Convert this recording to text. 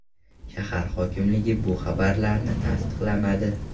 Shahar hokimligi bu xabarlarni tasdiqlamadi.